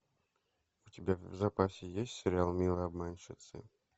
у тебя в запасе есть сериал милые обманщицы